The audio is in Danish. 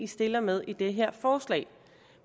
stiller med i det her forslag